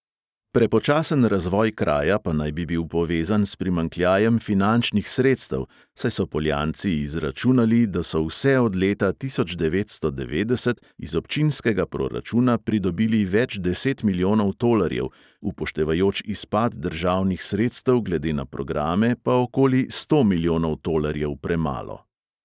Prepočasen razvoj kraja pa naj bi bil povezan s primanjkljajem finančnih sredstev, saj so poljanci izračunali, da so vse od leta tisoč devetsto devetdeset iz občinskega proračuna pridobili več deset milijonov tolarjev, upoštevajoč izpad državnih sredstev glede na programe, pa okoli sto milijonov tolarjev premalo.